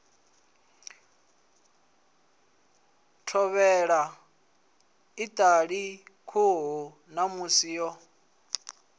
thovhela iṱali khuhu ṋamusi yo